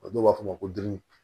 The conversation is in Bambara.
O dɔw b'a fɔ ma ko didi